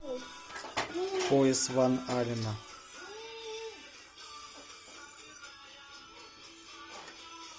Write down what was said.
пояс ван аллена